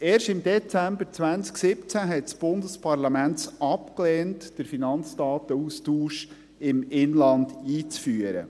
Erst im Dezember 2017 hat das Bundesparlament es abgelehnt, den Finanzdatenaustausch im Inland einzuführen.